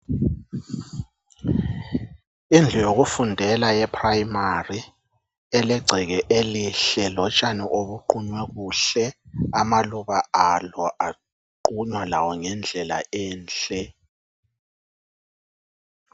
Indlu yokufundela ye "primary" elegceke elihle lotshani obuqunywe kuhle amaluba alo aqunywa lawo ngendlela enhle.